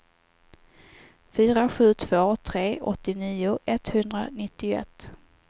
fyra sju två tre åttionio etthundranittioett